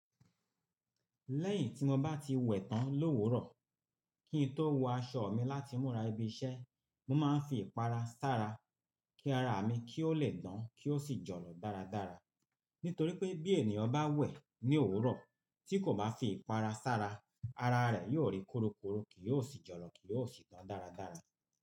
Lẹ́yìn tí mo bá ti wẹ̀ tán l'òwúrọ̀, kí n tó wọ aṣọ mi láti múra ibi iṣẹ́, mo máa ń fi ìpara sára kí ara mi kí ó lè dán kí ó sì jọ̀lọ̀ dáradára. Nítorí pé bí ènìyàn bá wẹ̀ ní òwúrọ̀ tí kò bá fi ìpara sára, ara rẹ̀ yóò rí korokoro, kì yóò sì jọ̀lọ̀ kì yóò sì dán dáradára.